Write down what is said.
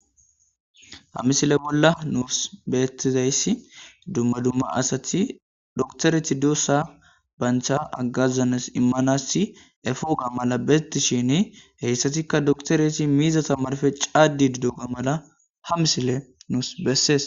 Ha misile bola nusi betizaysi duma duma asati dokitereti dusa banta agaza imanas efogadan betishin hesatika dokitereti miizata narpe cadidoga mala ha misiley nusi beses.